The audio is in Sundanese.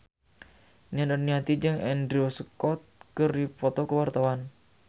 Nia Daniati jeung Andrew Scott keur dipoto ku wartawan